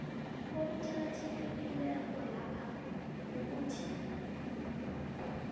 okuqakathekileko lapha kukuthi